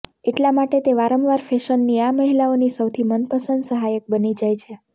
એટલા માટે તે વારંવાર ફેશનની આ મહિલાઓની સૌથી મનપસંદ સહાયક બની જાય છે